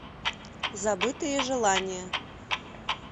забытые желания